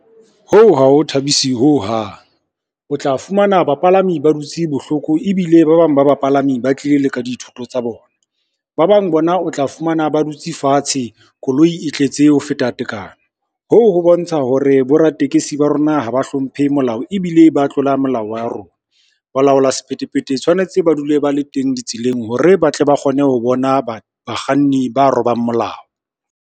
Hoo ha ho thabisi ho hang, o tla fumana bapalami ba dutse bohloko ebile ba bang ba bapalami ba tlile le ka dithoto tsa bona. Ba bang bona o tla fumana ba dutse fatshe koloi e tletse ho feta tekano, hoo ho bontsha hore boraditekesi ba rona ha ba hlomphe molao, ebile ba tlola molao wa rona. Ba laola sephethephethe tshwanetse ba dule ba le teng ditseleng hore ba tle ba kgone ho bona ba bakganni ba robang molao.